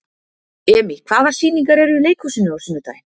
Emý, hvaða sýningar eru í leikhúsinu á sunnudaginn?